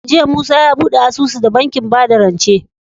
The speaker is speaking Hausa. Jiya musa ya buɗe asusu da bankin bada rance